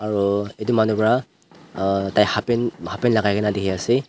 aro etu manu para emm tai halfpant halfpant lagai kina diki asae.